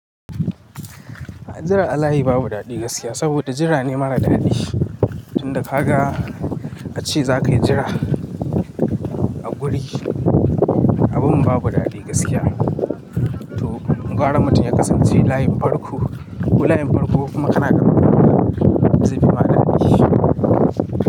Jira Alayi babu daɗi gaskiya, saboda jira ne mara daɗi. Inda ka ga a ce za ka jira a guri, abun babu daɗi gaskiya. To, gwara mutum ya kasance layin farko, ko layin farko kuma kana karkatawa zai fi ma daɗi.